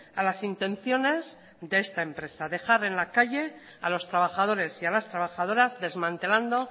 a las intenciones de esta empresa dejar en la calle a los trabajadores y a las trabajadoras desmantelando